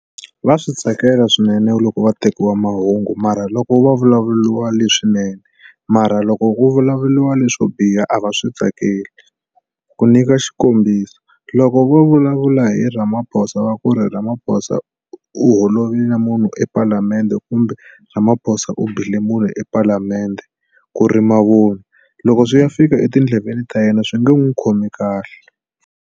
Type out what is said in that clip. Va swi tsakela swinene loko va tekiwa mahungu mara loko va vulavuriwa leswinene mara loko ku vulavuriwa leswo biha a va swi tsakeli ku nyika xikombiso loko vo vulavula hi Ramaphosa va ku ri Ramaphosa u holovile na munhu epalamende kumbe Ramaphosa u bile munhu epalamende ku ri mavun'wa loko swi ya fika etindleveni ta yena swi nge n'wi khomi kahle.